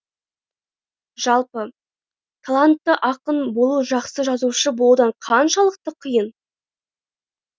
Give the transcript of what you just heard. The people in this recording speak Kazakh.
жалпы талантты ақын болу жақсы жазушы болудан қаншалықты қиын